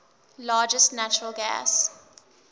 largest natural gas